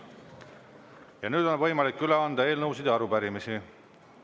Ja nüüd on võimalik üle anda eelnõusid ja arupärimisi.